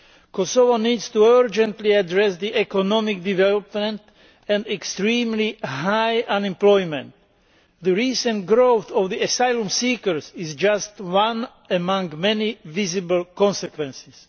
Kosovo needs urgently to address the economic development and extremely high unemployment. The recent growth of asylum seekers is just one among many visible consequences.